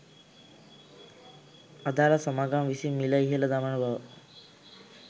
අදාල සමාගම් විසින් මිළ ඉහළ දමන බව